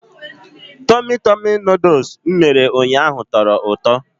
Tummy tummy Nụdụls m mere ụnyaahụ tọrọ ụtọ.